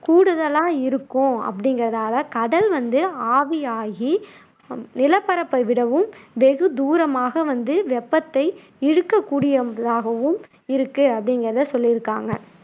கூடுதலா இருக்கும் அப்படிங்குறதால கடல் வந்து ஆவியாகி நிலப்பரப்பை விடவும் வெகு தூரமாக வந்து வெப்பத்தை இழுக்கக் கூடியதாகவும் இருக்கு அப்படிங்குறதை சொல்லியிருக்காங்க